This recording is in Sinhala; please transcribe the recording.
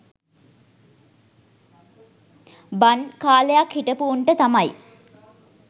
බන් කාලයක් හිටපු උන්ට තමයි